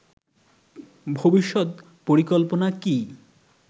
ভবিষৎ পরিকল্পনা কী